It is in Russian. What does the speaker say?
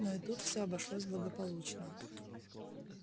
но и тут все обошлось благополучно